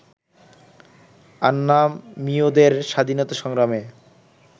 আন্নামীয়দের স্বাধীনতা সংগ্রামে